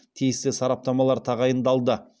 тиісті сараптамалар тағайындалды